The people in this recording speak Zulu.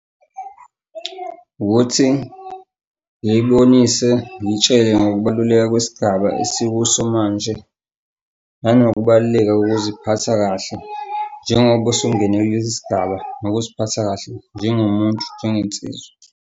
Ukuthi ngiyibonise ngiyitshele ngokubaluleka kwesigaba esikuso manje nanokubaluleka kokuziphatha kahle njengoba usungene kulesi sigaba. Nokuziphatha kahle njengomuntu njengensizwa.